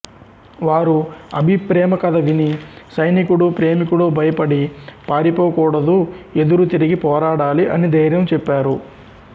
వారు అభి ప్రేమ కధ విని సైనికుడు ప్రేమికుడు భయపడి పారిపోకుడదుఎదురు తిరిగి పోరాడాలి అని దైర్యం చెప్తారు